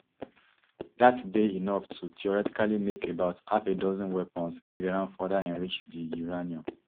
dat dey enough to theoretically make about half a dozen weapons if iran further enrich di uranium